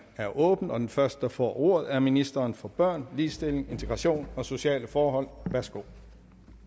er åbnet og den første der får ordet er ministeren for børn ligestilling integration og sociale forhold værsgo